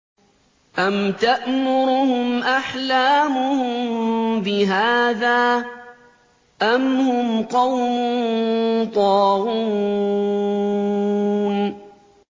أَمْ تَأْمُرُهُمْ أَحْلَامُهُم بِهَٰذَا ۚ أَمْ هُمْ قَوْمٌ طَاغُونَ